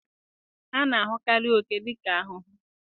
A na-ahụkarị oke dị ka ahụhụ.